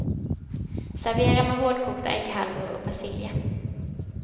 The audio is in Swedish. Servera med hårdkokta ägghalvor och persilja.